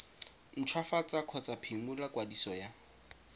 ntshwafatsa kgotsa phimola kwadiso ya